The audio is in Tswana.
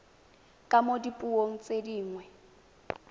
ka mo dipuong tse dingwe